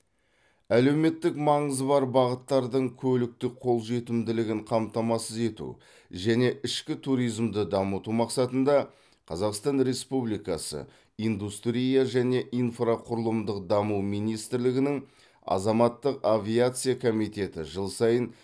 әлеуметтік маңызы бар бағыттардың көліктік қолжетімділігін қамтамасыз ету және ішкі туризмді дамыту мақсатында қазақстан республикасы индустрия және инфрақұрылымдық даму министрлігінің азаматтық авиация комитеті жыл сайын